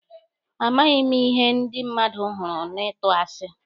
Amaghị m ihe ndị mmadụ hụrụ na ịtụ asi.